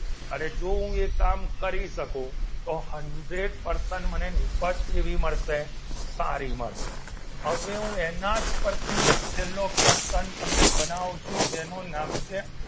અને હું જો એ કામ કરી શકું તો હન્ડ્રેડ percent મને નીપજ કેવી મળશે સારી મળશે હવે હું એના જ પરથી એક છેલ્લો પ્રશ્ન તમને બનાવું છું જેનું નામ છે